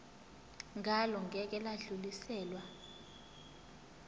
ngalo ngeke lwadluliselwa